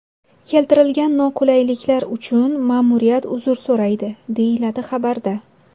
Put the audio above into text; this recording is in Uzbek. Keltirilgan noqulayliklar uchun ma’muriyat uzr so‘raydi, deyiladi xabarda.